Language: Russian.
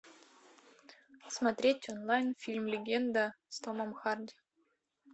смотреть онлайн фильм легенда с томом харди